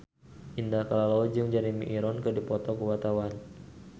Indah Kalalo jeung Jeremy Irons keur dipoto ku wartawan